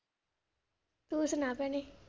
ਤੂੰ ਸੁਣਾ ਭੈਣੇ?